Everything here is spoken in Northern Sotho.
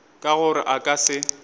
ka gore a ka se